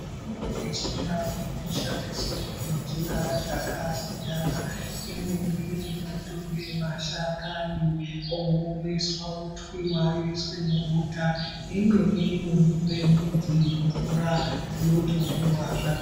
Mitombo yechindau inoshandiswe ngenjira dzakasiyana. Imweni inotorwe mashakani oomeswa otwiwa oiswe mubota. Imweni inoiswe midzi mumvura yotomwiwa zvakadaro.